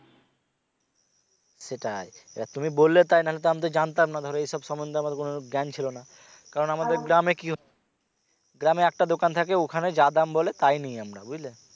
সেটাই তুমি বললে তাই নাহলে আমি তো জানতাম না ধরো এসব সমন্ধে আমার কোন জ্ঞান ছিলো না আমাদের গ্রামে কি গ্রামে একটা দোকান থাকে ওখানে যা দাম বলে তাই নেই আমরা বুঝলে